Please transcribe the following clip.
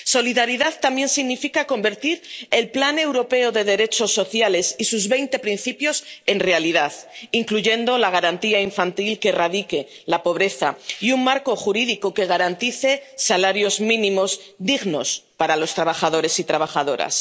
Solidaridad también significa convertir el pilar europeo de derechos sociales y sus veinte principios en realidad, incluyendo la garantía infantil que erradique la pobreza y un marco jurídico que garantice salarios mínimos dignos para los trabajadores y trabajadoras.